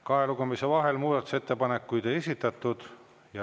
Kahe lugemise vahel muudatusettepanekuid ei esitatud.